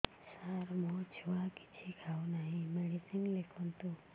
ସାର ମୋ ଛୁଆ କିଛି ଖାଉ ନାହିଁ ମେଡିସିନ ଲେଖନ୍ତୁ